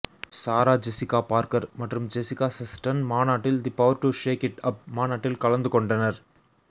சாரா Jessica Parker மற்றும் Jessica Chastain மாநாட்டில் the power to shake it up மாநாட்டில் கலந்துகொண்டனர்